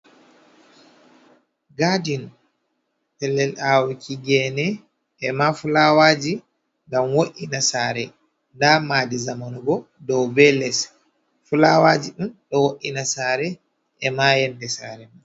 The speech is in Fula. Gadiin Pellel awuuki gene ema Fulawaji ngam wo’ina Sare. Nda Maadi zamanubo dou be less. Fulawaji ɗum ɗo wo’ina Sare ema yonde Sare ma.